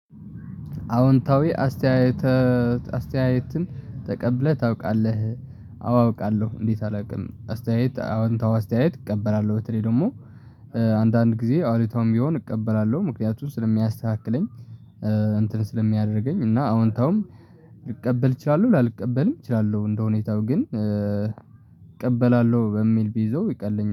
አወንታዊ አስተያየት አስተያየትን ተቀብለህ ታውቃለህ? አዎ አውቃለሁ እንዴት አላውቅም። አስተያየት አዎንታዊ አስተያየት እቀበላለሁ በተለይ ደግሞ አንዳንድ ጊዜ አሉታዊም ቢሆን እቀበላለሁ ምክንያቱን ስለሚያስተካክለኝ። እንትን ስለሚያደርገኝ እና አዎንታውም ልቀበል እችላለሁ ላልቀበልም እችላለሁ እንደሁኔታው ግን እቀበላለሁ በሚል ብይዘው ይቀለኛል